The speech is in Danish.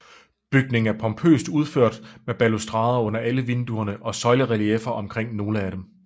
Bygningen er pompøst udført med balustrader under alle vinduerne og søjlerelieffer omkring nogle af dem